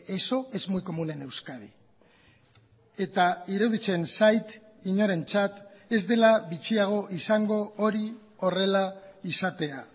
eso es muy común en euskadi eta iruditzen zait inorentzat ez dela bitxiago izango hori horrela izatea